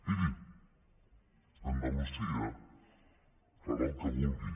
miri andalusia farà el que vulgui